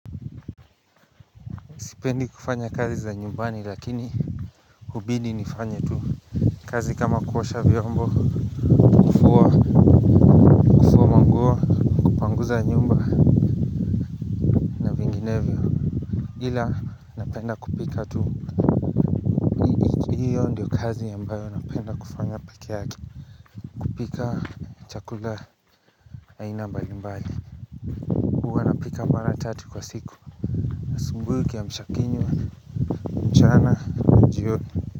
Sipendi kufanya kazi za nyumbani lakini hubidi nifanya tu kazi kama kuosha vyombo kufua manguo kupanguza nyumba na vinginevyo ila napenda kupika tu hiyo ndio kazi ambayo napenda kufanya peke yake kupika chakula aina mbalimbali huwa napika mara tatu kwa siku asubuhi kiamsha kinywa mchana na jioni.